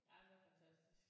Jamen den er fantastisk